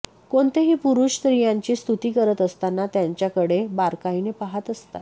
कोणतेही पुरूष स्त्रियांची स्तुती करत असताना त्यांचाकडे बारकाईने पाहत असतात